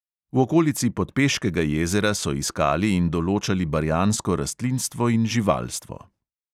V okolici podpeškega jezera so iskali in določali barjansko rastlinstvo in živalstvo.